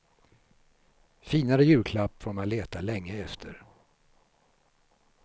Finare julklapp får man leta länge efter.